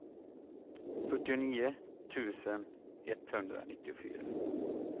fyrtionio tusen etthundranittiofyra